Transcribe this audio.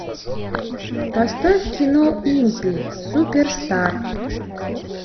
поставь кино импи суперстар